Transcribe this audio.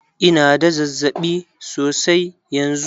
Ina da zazzaɓi sosai yanzu.